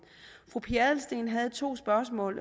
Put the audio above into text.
fru pia adelsteen havde to spørgsmål